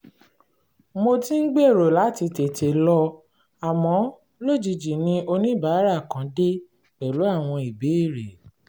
mo ti ń gbèrò láti tètè lọ àmọ́ lójijì ni oníbàárà kan dé pẹ̀lú àwọn ìbéèrè